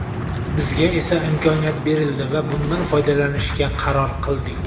Bizga esa imkoniyat berildi va bundan foydalanishga qaror qildik.